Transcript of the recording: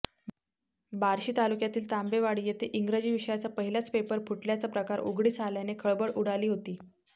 बार्शी तालुक्यातील तांबेवाडी येथे इंग्रजी विषयाचा पहिलाच पेपर फुटल्याचा प्रकार उघडकीस आल्याने खळबळ उडाली होती